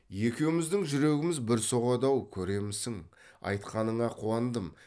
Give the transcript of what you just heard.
екеуміздің жүрегіміз бір соғады ау көремісің айтқаныңа қуандым